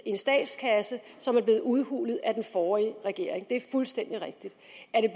en statskasse som er blevet udhulet af den forrige regering det er fuldstændig rigtigt